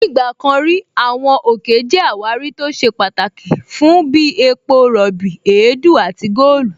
Ní ìgbà kan rí, Àwọn òkè jẹ́ àwárí tó ṣe pàtàkì fún bí epo rọ̀bì, èédú àti góòlù